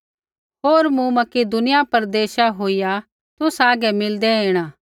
होर मूँ मकिदुनिया प्रदेशा होईया तुसा हागै मिलदै ऐणा